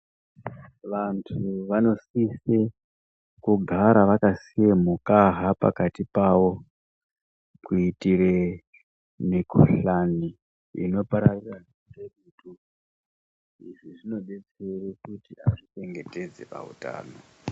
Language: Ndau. Vantu vanosise kugara vakasiye mukaha pakati pavo kuitire mikuhlane inopararira ngedutu. Izvizvinodetsera kuti vazvichengetedze pautano.